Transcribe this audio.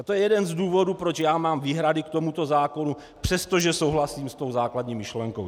A to je jeden z důvodů, proč já mám výhrady k tomuto zákonu, přestože souhlasím s tou základní myšlenkou.